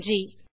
நன்றி